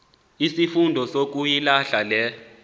izifundo sukuyilahla le